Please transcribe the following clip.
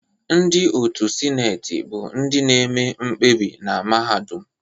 Ndị otu Sineti bụ ndị na-eme mkpebi na mahadum.